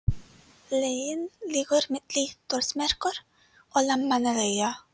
Leiðin liggur milli Þórsmerkur og Landmannalauga.